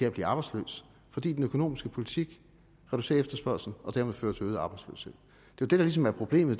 at blive arbejdsløs fordi den økonomiske politik reducerer efterspørgslen og dermed fører til øget arbejdsløshed det der ligesom er problemet